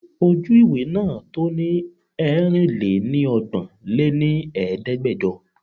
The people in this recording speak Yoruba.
Ojú ìwé náà to ni Erin-lé-ní ọgbọ́n lé ní Ẹ̀ẹ́dẹ́gbẹjọ.